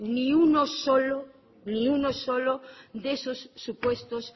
ni uno solo de esos supuestos